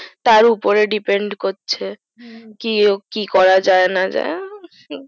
তার উপরে depend করছে কি করা যাই না যাই